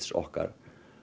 okkar